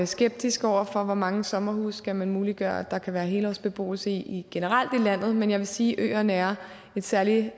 skeptisk over for hvor mange sommerhuse man skal muliggøre at der kan være helårsbeboelse i generelt i landet men jeg vil sige at øerne er et særligt